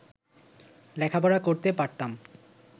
লেখাপড়া করতে পারতাম